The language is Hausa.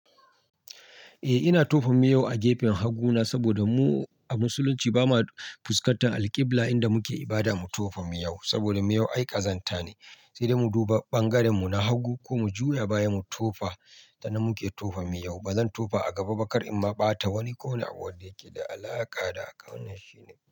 Eh ina tofabmiyau a gefen hagu na saboda mu a musulunci ba ma fuskatar Al-Qibla inda muke ibada mu tofa miyau saboda miyau ai kazanta ne, sai dai mu duba ɓangaren mu na hagu ko mu juya baya mu tofa tanan muke tofa miyau. Ba zan tofa a gaba ba kar in ma ɓata wani ko wani abu da yake da alaƙa dabhaka wannan shine.